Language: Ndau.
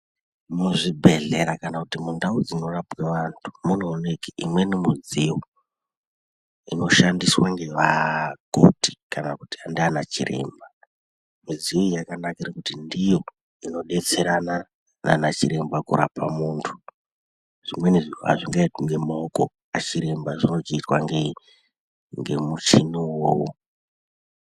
Muzvibhodhlera kana kuti mundau dzinorapwe vantu munooneke imweni midziyo inoshandiswa ngevakoti kana kuti ndana chiremba , midziyo iyi yakanakire kuti ndiyo iyo inodetserana nana chiremba kurapa muntu , zvimweni zviro azvingaitwi nemaokonachoremba zvinochiitwa nemuchini wo uwowo.